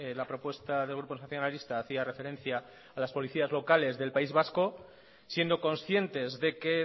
la propuesta del grupo nacionalista hacía referencia a las policías locales del país vasco siendo conscientes de que